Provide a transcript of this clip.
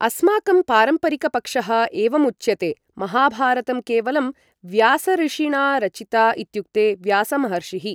अस्माकं पारम्परिकपक्षः एवम् उच्यते महाभारतं केवलं व्यासऋषिणा रचिता इत्युक्ते व्यासमहर्षिः